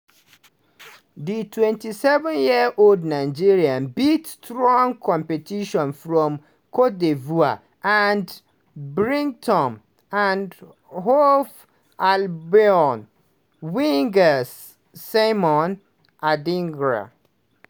di 27 years old nigeria beat strong competitions from cote d'ivoire and brighton & hove albion winger simon adingra.